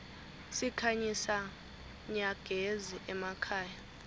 sikhanyisa nyagezi emakhaya